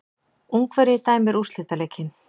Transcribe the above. Ungverji dæmir úrslitaleikinn